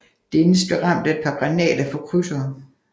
Dennis blev ramt af et par granater fra krydsere